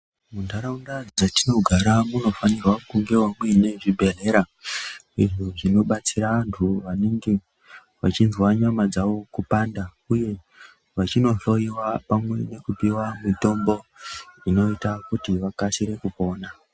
Muntaraunda dzatinogara munofanira kunge mune zvibhedhlera izvo zvinobatsira vantu vanenge vachinzwa nyama dzavo kupanda, uye vachinohloyowa pamwe nekupiwa mitombo inoita kuti vakasire kupona.